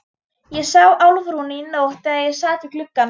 Ég sá Álfrúnu í nótt þegar ég sat við gluggann.